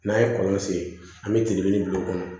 N'an ye kɔlɔn sen an bɛ telefɔni bila o kɔnɔ